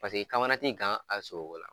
Paseke i kamana ti gan a sogoko la.